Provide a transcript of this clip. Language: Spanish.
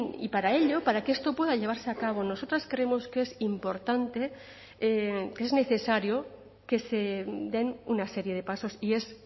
y para ello para que esto pueda llevarse a cabo nosotras creemos que es importante que es necesario que se den una serie de pasos y es